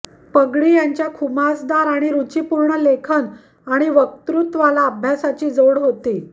पगडी यांच्या खुमासदार आणि रुचीपूर्ण लेखन आणि वक्तृत्वाला अभ्यासाची जोड होती